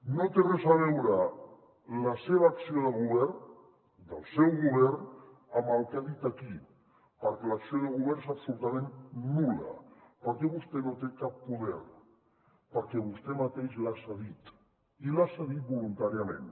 no té res a veure la seva acció de govern del seu govern amb el que ha dit aquí perquè l’acció de govern és absolutament nul·la perquè vostè no té cap poder perquè vostè mateix l’ha cedit i l’ha cedit voluntàriament